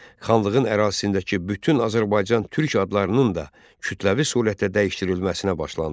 Xanlığın ərazisindəki bütün Azərbaycan türk adlarının da kütləvi surətdə dəyişdirilməsinə başlandı.